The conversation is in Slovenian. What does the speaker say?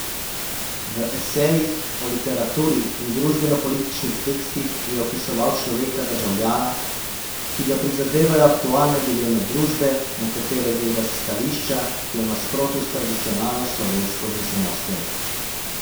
V esejih o literaturi in družbenopolitičnih tekstih je opisoval človeka državljana, ki ga prizadevajo aktualne dileme družbe, na katere gleda s stališča, ki je v nasprotju s tradicionalno slovensko miselnostjo.